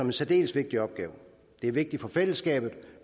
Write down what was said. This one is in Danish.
en særdeles vigtig opgave det er vigtigt for fællesskabet